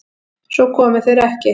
Svo komu þeir ekki.